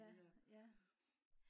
ja ja